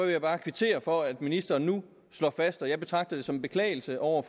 jeg bare kvittere for at ministeren nu slår fast og jeg betragter det som en beklagelse over